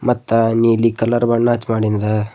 ಮತ್ತ ನೀಲಿ ಬಣ್ಣ ಹಚ್ಚಿ ಮಾಡಿಂದ--